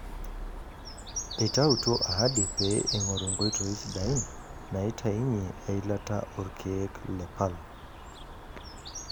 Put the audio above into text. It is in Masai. Eitaituo ahadi pee eingoru nkoitoi sidain naaitainyie eilata oolkeek le palm.